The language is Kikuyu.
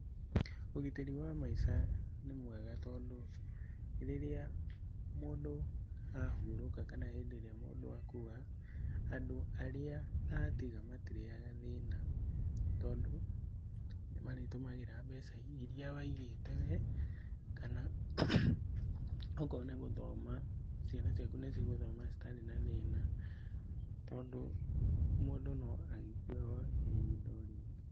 Ũgitĩri wa maica nĩ mwega tondũ rĩrĩa mũndũ ahurũka kana hĩndĩ ĩrĩa mũndũ akua, andũ arĩa atiga matirĩyaga thĩna tondũ nĩ marĩtũmagĩra mbeca irĩa waigĩte we kana okorwo nĩ gũthoma ciana ciaku nĩ cigũthoma citarĩ na thĩna tondũ mũndũ no agĩkue o ihinda o rĩothe.